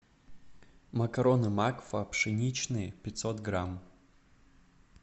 макароны макфа пшеничные пятьсот грамм